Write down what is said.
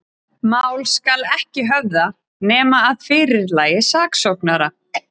Mál skal ekki höfða, nema að fyrirlagi saksóknara.